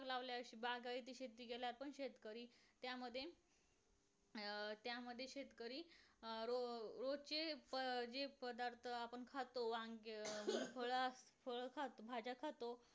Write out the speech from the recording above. लावल्याची बागायती शेती केल्यावर पण शेतकरी त्या मध्ये अं त्यामध्ये शेतकरी अं रोज रोजचे फ अं जे पदार्थ आपण खातो वांग्य हि फळ फळ खातो भाज्या खातो